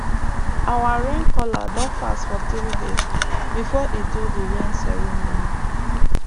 our rain caller don fast for three days before e do the rain ceremony